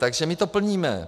Takže my to plníme.